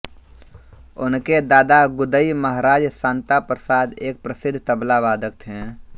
उनके दादा गुदई महाराज शांता प्रसाद एक प्रसिद्ध तबला वादक थे